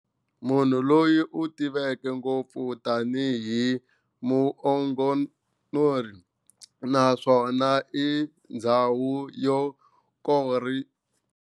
Munhu loyi utiveka ngopfu tani hi "humongous", naswona i ndzhawu yo karhi.